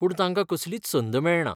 पूण तांका कसलीच संद मेळना.